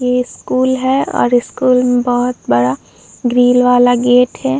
ये स्कूल है और स्कूल में बहोत बड़ा ग्रिल वाला गेट है।